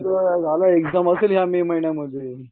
झालं एक्झाम असेल या मे महिन्यामध्ये